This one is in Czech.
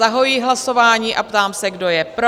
Zahajuji hlasování a ptám se, kdo je pro?